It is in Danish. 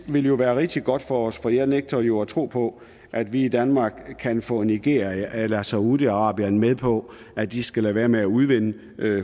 vil jo være rigtig godt for os for jeg nægter jo at tro på at vi i danmark kan få nigeria eller saudi arabien med på at de skal lade være med at udvinde